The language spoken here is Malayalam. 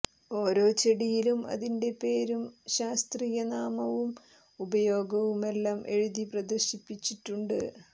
ഓരോ ചെടിയിലും അതിൻ്റെ പേരും ശാസ്ത്രീയ നാമവും ഉപയോഗവുമെല്ലാം എഴുതി പ്രദർശിപ്പിച്ചിട്ടുണ്ട്